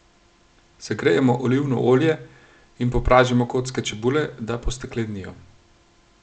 Segrejemo olivno olje in popražimo kocke čebule, da posteklenijo.